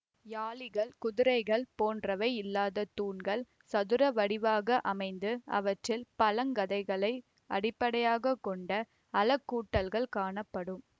யாளிகள் குதிரைகள் போன்றவை இல்லாத தூண்கள் சதுர வடிவாக அமைந்து அவற்றில் பழ கதைகளை அடிப்படையாக கொண்ட அழகூட்டல்கள் காணப்படும்